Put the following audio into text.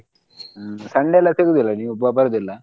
ಹ್ಮ್ Sunday ಎಲ್ಲಾ ಸಿಗುದಿಲ್ಲ ನೀವ್ ಬ~ ಬರುದಿಲ್ಲ.